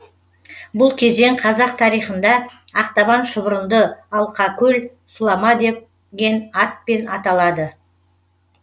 бұл кезең қазақ тарихында ақтабан шұбырынды алқакөл сұлама деген атпен аталады